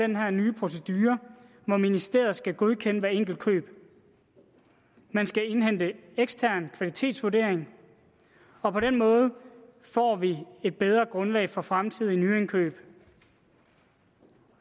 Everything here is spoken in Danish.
den her nye procedure hvor ministeriet skal godkende hvert enkelt køb man skal indhente en ekstern kvalitetsvurdering og på den måde får vi et bedre grundlag for fremtidige nyindkøb